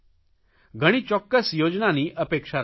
ઘણી ચોકકસ યોજનાની અપેક્ષા રાખું છું